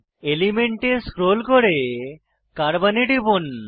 element এ scroll করে carbon এ টিপুন